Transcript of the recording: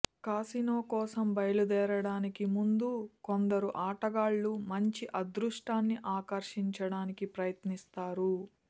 casino కోసం బయలుదేరడానికి ముందు కొందరు ఆటగాళ్ళు మంచి అదృష్టాన్ని ఆకర్షించడానికి ప్రయత్నిస్తారు